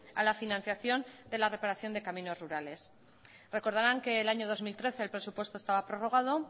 a la financiación de la reparación de caminos rurales recordaran que el año dos mil trece el presupuesto estaba prorrogado